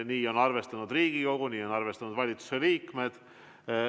Nii on arvestanud Riigikogu, nii on arvestanud valitsuse liikmed.